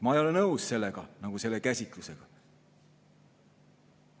Ma ei ole nõus sellega, selle käsitlusega.